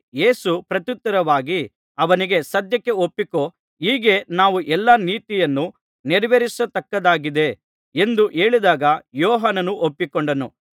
ಯೇಸು ಪ್ರತ್ಯುತ್ತರವಾಗಿ ಅವನಿಗೆ ಸದ್ಯಕ್ಕೆ ಒಪ್ಪಿಕೋ ಹೀಗೆ ನಾವು ಎಲ್ಲಾ ನೀತಿಯನ್ನು ನೆರವೇರಿಸತಕ್ಕದ್ದಾಗಿದೆ ಎಂದು ಹೇಳಿದಾಗ ಯೋಹಾನನು ಒಪ್ಪಿಕೊಂಡನು